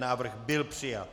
Návrh byl přijat.